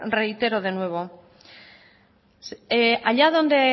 reitero de nuevo allá donde